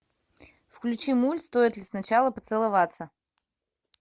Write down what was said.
включи мульт стоит ли сначала поцеловаться